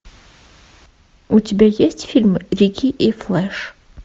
у тебя есть фильм рикки и флэш